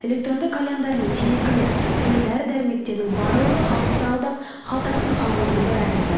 электронды кальяндар мен темекілер түрлі дәрі дәрмектердің барлығы халықты алдап қалтасын қағудың бір әдісі